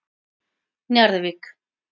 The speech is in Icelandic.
Njarðvík